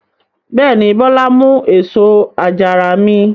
Bẹ́ẹ̀ ni, Bọ́lá mú èso àjàrà mi.